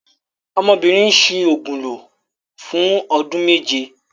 Ọmọbìnrin ń ṣi òògùn lò fún ọdún méje.